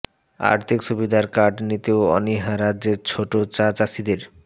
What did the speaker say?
আর্থিক সুবিধার কার্ড নিতেও অনীহা রাজ্যের ছোট চা চাষিদের